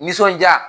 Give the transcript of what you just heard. Nisɔndiya